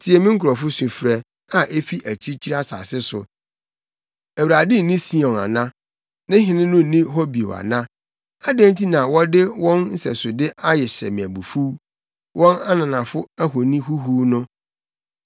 Tie me nkurɔfo sufrɛ; a efi akyirikyiri asase so: “ Awurade nni Sion ana? Ne Hene no nni hɔ bio ana?” “Adɛn nti na wɔde wɔn nsɛsode ahyɛ me abufuw, wɔn ananafo ahoni huhuw no?”